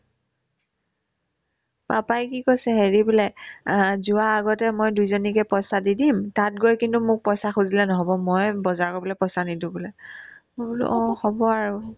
papa ই কি কৈছে হেৰি বোলে আ যোৱাৰ আগতে মই দুইজনীকে পইচা দি দিম তাত গৈ কিন্তু মোক পইচা খোজিলে নহ'ব মই বজাৰ কৰিবলে পইচা নিদিও বোলে মই বোলো অ হ'ব আৰু